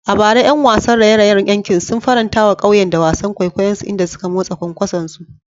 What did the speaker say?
A bara, ƴan wasan raye-rayen yankin sun faranta wa ƙauyen da wasan kwaikwayonsu, inda suka motsa kwankwasonsu.